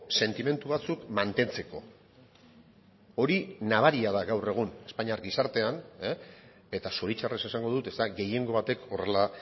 sentimendu batzuk mantentzeko hori nabaria da gaur egun espainiar gizartean eta zoritxarrez esango dut ez da gehiengo batek horrela